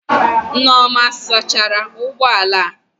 Nneoma ọ sachara ụgbọ ala?